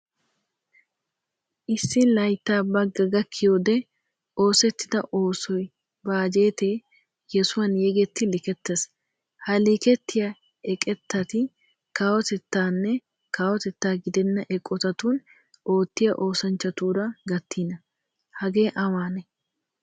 Issi laytta bagga gakkiyode oosettida oosoy, bajette yesuwan yegetti liketees. Ha liketiya eqqitati kawotettane kawotetta gidena eqqotatun oottiyaa oosanchchutara gattina. Hagee awane?